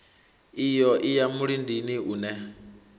iyo i ya mulindini une